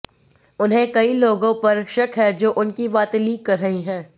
उन्हें कई लोगों पर शक है जो उनकी बातें लीक कर रहे हैं